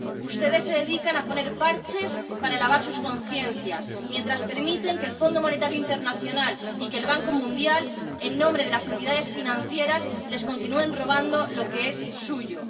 Ustedes se dedican a poner parches para lavar sus conciencias, mientras permiten que el Fondo Monetario Internacional y que el Banco Mundial, en nombre de las entidades financieras, continúen robando a estos países lo que es suyo.